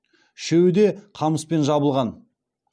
үшеуі де қамыспен жабылған